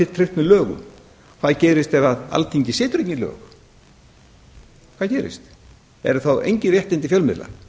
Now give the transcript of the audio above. með lögum hvað gerist þegar alþingi setur ekki lög hvað gerist eru þá engin réttindi fjölmiðla